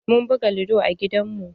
Mun buga lido a gidan mu.